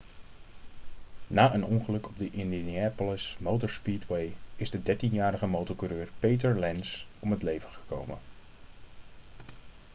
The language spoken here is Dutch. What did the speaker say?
na een ongeluk op de indianapolis motor speedway is de dertienjarige motorcoureur peter lenz om het leven gekomen